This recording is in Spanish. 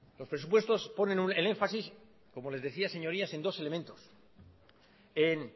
los presupuestos ponen el énfasis como les decía señorías en dos elementos en